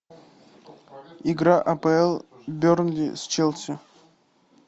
игра апл бернли с челси